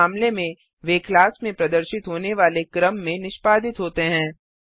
इस मामले में वे क्लास में प्रदर्शित होने वाले क्रम में निष्पादित होते हैं